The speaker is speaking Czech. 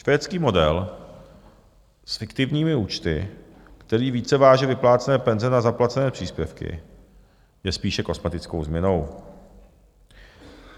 Švédský model s fiktivními účty, který více váže vyplácené penze na zaplacené příspěvky, je spíše kosmetickou změnou.